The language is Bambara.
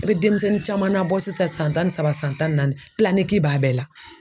I be demisɛnnin caman nabɔ sisan san tan ni saba san tan ni naani b'a bɛɛ la.